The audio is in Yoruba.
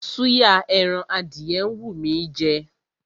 Súyà ẹran adìyẹ ń wú mí í jẹ.